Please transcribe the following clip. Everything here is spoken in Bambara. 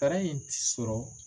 in ti sɔrɔ.